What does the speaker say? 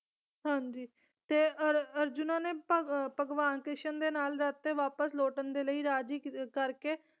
ਹਾਂਜੀ ਤੇ ਅਰ ਅਰਜੁਨਾ ਨੇ ਭਾਗ ਭਗਵਾਨ ਕ੍ਰਿਸ਼ਨ ਦੇ ਨਾਲ ਰੱਥ ਤੇ ਵਾਪਸ ਲੋਟਣ ਦੇ ਲਈ ਰਾਜੀ ਕਰਕੇ